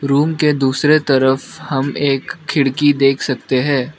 Room के दूसरे तरफ हम एक खिड़की देख सकते हैं।